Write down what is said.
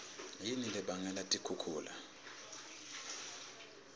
yini lebangela tikhukhula